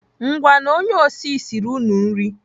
Ngwanụ onye osi siri unu nri.